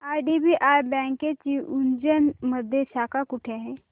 IDBI बँकेची उज्जैन मध्ये शाखा कुठे आहे